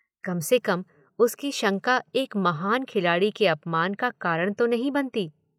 कम से कम उसकी शंका एक महान खिलाड़ी के अपमान का कारण तो नहीं बनती।